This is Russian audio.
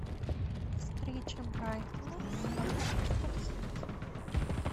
встреча брайтона с манчестер сити